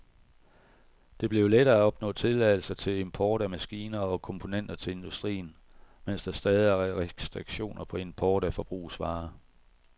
Det blev lettere at opnå tilladelser til import af maskiner og komponenter til industrien, mens der stadig er restriktioner på import af forbrugsvarer.